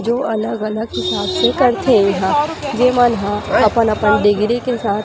जो अलग-अलग हिसाब से करथें इहा जे मन अपन-अपन डिगरी के साथ --